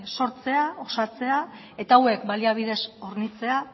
osatzea eta hauek baliabidez hornitzea